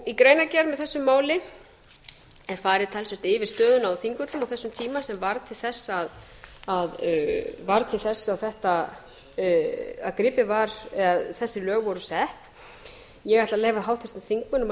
í greinargerð með þessu máli er farið talsvert yfir stöðuna á þingvöllum á þessum tíma sem varð til þess að gripið var eða þessi lög voru sett ég ætla að leyfa háttvirtum þingmönnum að